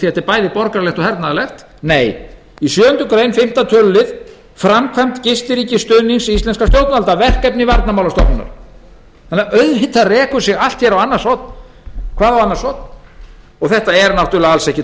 er bæði borgaralegt og hernaðarlegt nei í sjöundu greinar fimmta tl er framkvæmd gistiríkisstuðnings íslensk stjórnvalda talin með verkefnum varnarmálastofnunar hér rekur sig hvað á annars horn þetta er alls ekki svona